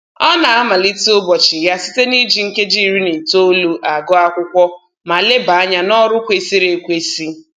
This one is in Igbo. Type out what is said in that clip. Ọ na-amalite ụbọchị ya site na-iji nkeji iri na itoolu agụ akwụkwọ ma leba anya n'ọrụ kwesịrị ekwesị